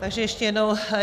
Takže ještě jednou.